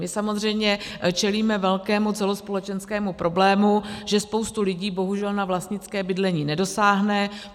My samozřejmě čelíme velkému celospolečenskému problému, že spousta lidí bohužel na vlastnické bydlení nedosáhne.